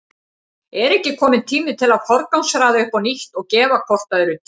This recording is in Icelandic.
Er ekki kominn tími til að forgangsraða upp á nýtt og gefa hvort öðru tíma?